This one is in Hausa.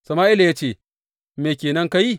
Sama’ila ya ce, Me ke nan ka yi?